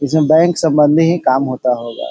किसी बैंक संबंध ही काम होता होगा।